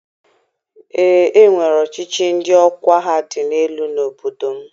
Ee, e nwere ọchịchị ndị ọkwa ha dị elu n'obodo m.